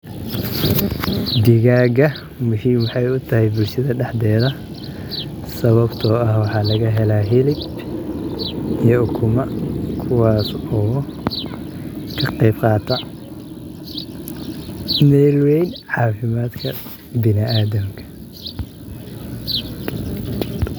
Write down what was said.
Digaaga muhiim waxey utahay bulshada daxdeeda sawabtoo ah waxaa lagahelaa hilib iyo ukuma kuwas oo kaqeyb qaata mel weyn caafimadka biniadamka.